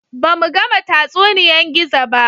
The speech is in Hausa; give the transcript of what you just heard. Ba mu gama tatsuniyan Gizo ba